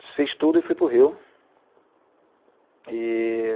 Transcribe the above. Desfiz tudo e fui para o Rio. E